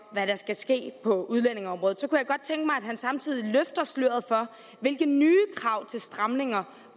hvad der skal ske på udlændingeområdet så kunne at han samtidig løftede sløret for hvilke nye krav til stramninger